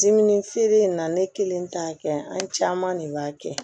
Dimi feere in na ne kelen t'a kɛ an caman de b'a kɛ